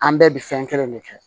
An bɛɛ bɛ fɛn kelen de kɛ